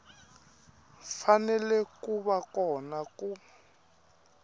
fanele ku va kona ku